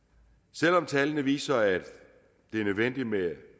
selv om tallene viser at det er nødvendigt med